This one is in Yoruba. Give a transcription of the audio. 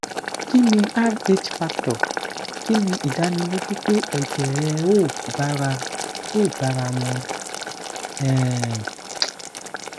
kini rh factor kini idaniloju pe ejee o bara o bara won mu um